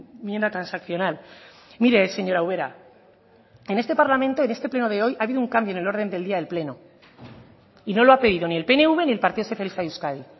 enmienda transaccional mire señora ubera en este parlamento en este pleno de hoy ha habido un cambio en el orden del día del pleno y no lo ha pedido ni el pnv ni el partido socialista de euskadi